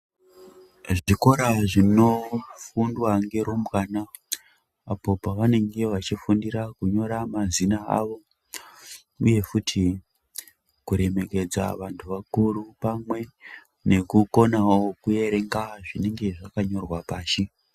Zvikora zvinofundwa nerumbwana apo pavanenge vachifundira kunyora mazina awo uye futi kuremekedza vantu vakuru pamwe nekukona kuerenga zvinenge zvakanyorwa pashi.